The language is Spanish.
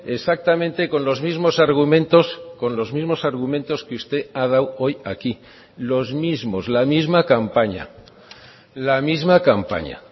exactamente con los mismos argumentos con los mismos argumentos que usted ha dado hoy aquí los mismos la misma campaña la misma campaña